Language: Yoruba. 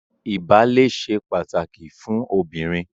Ìbálé ṣe pàtàkì fún obìnrin